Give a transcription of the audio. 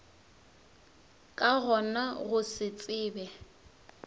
ka gona go se tsebe